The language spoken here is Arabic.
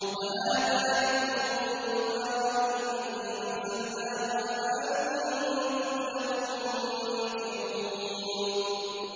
وَهَٰذَا ذِكْرٌ مُّبَارَكٌ أَنزَلْنَاهُ ۚ أَفَأَنتُمْ لَهُ مُنكِرُونَ